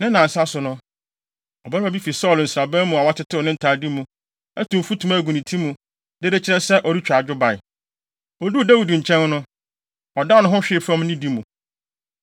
Ne nnansa so no, ɔbarima bi fi Saulo nsraban mu a watetew ne ntade mu, atu mfutuma agu ne ti mu, de rekyerɛ sɛ ɔretwa adwo bae. Oduu Dawid nkyɛn no, ɔdan ne ho hwee fam nidi mu.